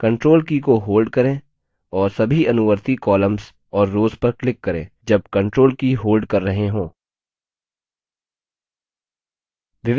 control की को hold करें और सभी अनुवर्ती columns और रोव्स पर click करें जब control की hold कर रहे hold